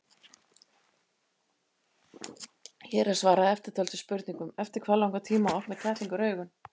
Hér er svarað eftirtöldum spurningum: Eftir hvað langan tíma opna kettlingar augun?